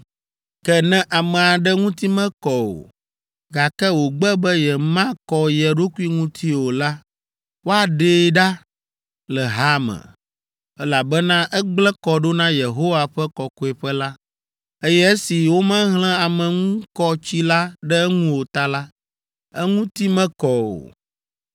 “Ke ne ame aɖe ŋuti mekɔ o, gake wògbe be yemakɔ ye ɖokui ŋuti o la, woaɖee ɖa le ha me, elabena egblẽ kɔ ɖo na Yehowa ƒe kɔkɔeƒe la, eye esi womehlẽ ameŋukɔtsi la ɖe eŋu o ta la, eŋuti mekɔ o.